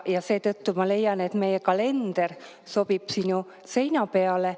Seetõttu ma leian, et meie kalender sobib sinu seina peale.